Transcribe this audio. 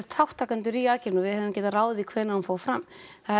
þátttakendur í aðgerðinni við höfum getað ráðið því hvenær hún fór fram það